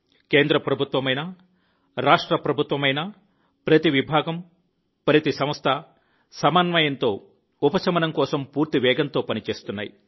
కేంద్ర ప్రభుత్వమైనా రాష్ట్ర ప్రభుత్వమైనా ప్రతి విభాగం ప్రతి సంస్థ సమన్వయంతో ఉపశమనం కోసం పూర్తి వేగంతో పనిచేస్తున్నాయి